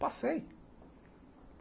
Passei.